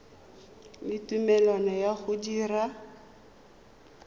le tumelelo ya go dira